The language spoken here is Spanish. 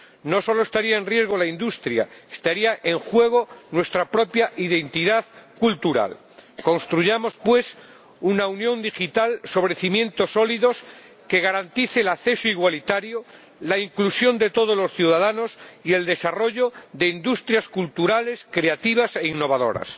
No solo estaría en riesgo la industria estaría en juego nuestra propia identidad cultural. Construyamos, pues, una unión digital sobre cimientos sólidos que garantice el acceso igualitario, la inclusión de todos los ciudadanos y el desarrollo de industrias culturales, creativas e innovadoras.